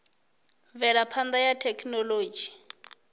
avhanya ha mvelaphana ya thekhinolodzhi